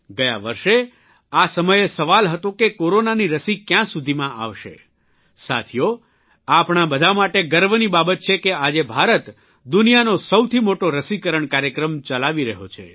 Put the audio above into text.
ગયા વર્ષે આ સમયે સવાલ હતો કે કોરોનાની રસી ક્યાં સુધીમાં આવશે સાથીઓ આપણા બધાં માટે ગર્વની બાબત છે કે આજે ભારત દુનિયાનો સૌથી મોટો રસીકરણ કાર્યક્રમ ચલાવી રહ્યો છે